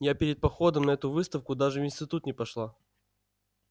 я перед походом на эту выставку даже в институт не пошла